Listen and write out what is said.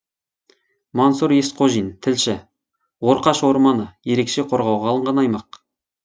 мансұр есқожин тілші орқаш орманы ерекше қорғауға алынған аймақ